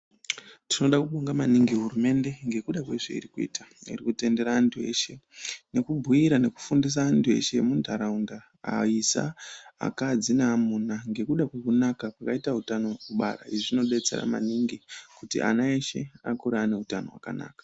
Tinoda kubonga maningi hurumende, ngekuda kwezveiri kuita. Iri kutendera anthu eshe, nekubhuira nekufundisa anthu eshe, akadzi, neaisa neamuna, ngekuda kwekunaka kweutano wekubara. Izvi zvinodetsera maningi, kuti ana eshe akure ane utano hwakanaka.